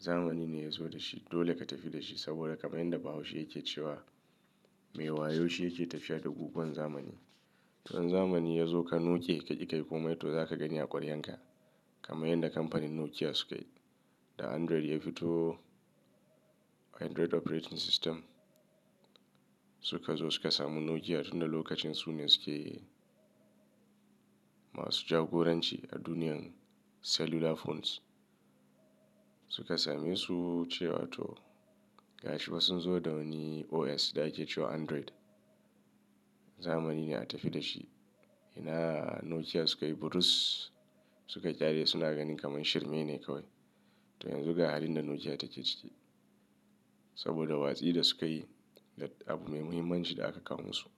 zamani ne ya zo da shi dole ka tafi da shi saboda kamar yadda Bahaushe yake cewa "Mai wayo shi yake tafiya da guguwan zamani." To in zamani ya zo ka noke ka ƙi ka yi komai to za ka gani a ƙwaryanka kamar yadda kamfanin Nokia suka yi. Da Android ya fito, Android operating system suka zo suka samu Nokia tun da lokacin su ne su ke masu jagoranci a duniyan cellular phones. Suka same su ce wa to gashi fa sun zo da wani OS da ake cewa Android. Zamani ne a tafi da shi. Ina Nokia suka yi burus, suka ƙyale suna ganin kamar shirme ne kawai. To yanzu ga halin da Nokia take ciki saboda watsi da sukayi da abu mai muhimmanci da aka kawon su.